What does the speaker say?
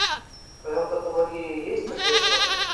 в твоем каталоге есть наследство